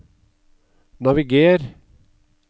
naviger